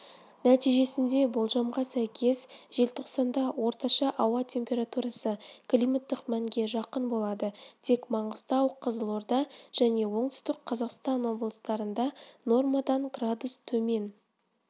нәтижесінде болжамға сәйкес желтоқсанда орташа ауа температурасы климаттық мәнге жақын болады тек маңғыстау қызылорда және оңтүстік қазақстан облыстарында нормадан градус төмен